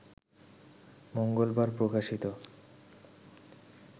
মঙ্গলবার প্রকাশিত